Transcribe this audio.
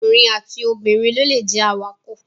Ọkùnrin àti obìnrin ló lè jẹ awakọ̀